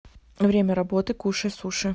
время работы кушай суши